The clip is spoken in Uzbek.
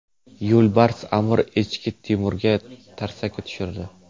Yo‘lbars Amur echki Timurga tarsaki tushirdi .